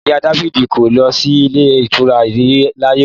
Ìyá dafidi kò lọ sí ilé ìtura rí láyé wọn.